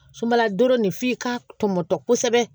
Sumala don nin f'i k'a tɔmɔtɔ kosɛbɛ